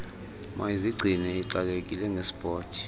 mayizigcine ixakekile ngesport